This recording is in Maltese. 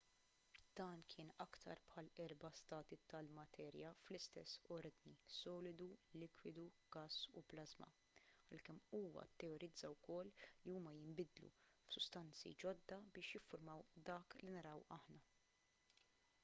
dan kien aktar bħall-erba' stati tal-materja fl-istess ordni: solidu likwidu gass u plażma għalkemm huwa tteorizza wkoll li huma jinbidlu f'sustanzi ġodda biex jiffurmaw dak li naraw aħna